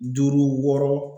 Duuru wɔɔrɔ.